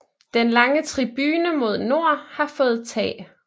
Den lange tribune mod nord har fået tag